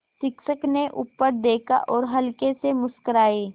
शिक्षक ने ऊपर देखा और हल्के से मुस्कराये